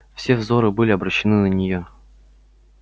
все взоры были обращены на неё